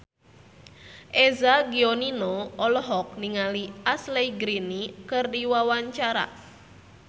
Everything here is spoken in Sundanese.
Eza Gionino olohok ningali Ashley Greene keur diwawancara